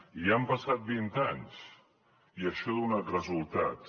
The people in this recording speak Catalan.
i han passat vint anys i això ha donat resultats